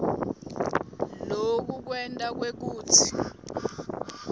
loku kwenta kwekutsi